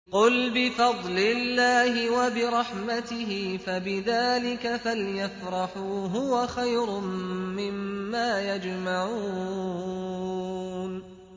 قُلْ بِفَضْلِ اللَّهِ وَبِرَحْمَتِهِ فَبِذَٰلِكَ فَلْيَفْرَحُوا هُوَ خَيْرٌ مِّمَّا يَجْمَعُونَ